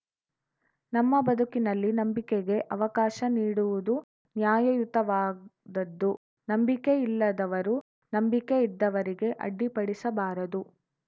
ನಮ್ಮ ಬದುಕಿನಲ್ಲಿ ನಂಬಿಕೆಗೆ ಅವಕಾಶ ನೀಡುವುದು ನ್ಯಾಯಯುತವಾದದ್ದು ನಂಬಿಕೆ ಇಲ್ಲದವರು ನಂಬಿಕೆ ಇದ್ದವರಿಗೆ ಅಡ್ಡಿಪಡಿಸಬಾರದು